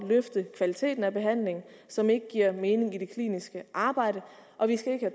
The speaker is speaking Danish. løfte kvaliteten af behandlingen og som ikke giver mening i det kliniske arbejde og vi skal ikke